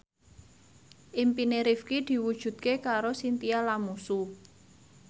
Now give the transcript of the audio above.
impine Rifqi diwujudke karo Chintya Lamusu